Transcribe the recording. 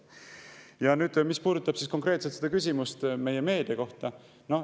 Ja nüüd see konkreetne küsimus meie meedia kohta.